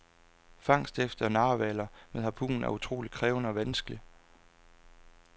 Fangst efter narhvaler med harpun er utroligt krævende og vanskelig.